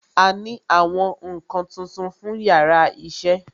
A ní àwọn nkan tuntun fún yàrá iṣẹ́